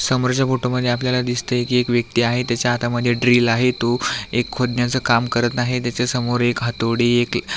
समोरच्या फोटोमध्ये आपल्याला दिसतय की एक व्यक्ति आहे त्याच्या हातामध्ये एक ड्रिल आहे तो एक खोदण्याच काम करत आहे त्याच्या समोर एक हातोडी एक --